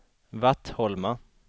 Vattholma